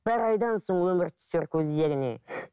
бір айдан соң өмір түсер көздеріне